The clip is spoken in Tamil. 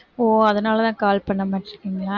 ஓ அதனால தான் call பண்ணமாட்டேன்றீங்களா?